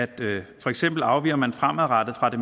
det for eksempel afviger man fremadrettet fra det